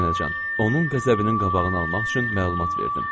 Nənəcan, onun qəzəbinin qabağını almaq üçün məlumat verdim.